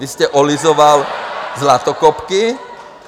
Vy jste olizoval zlatokopky.